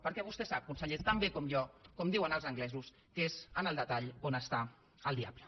perquè vostè sap conseller tan bé com jo com diuen els anglesos que és en el detall on està el diable